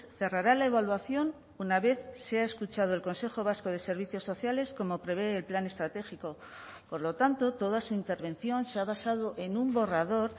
cerrará la evaluación una vez sea escuchado el consejo vasco de servicios sociales como prevé el plan estratégico por lo tanto toda su intervención se ha basado en un borrador